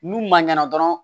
N'u man ɲana dɔrɔn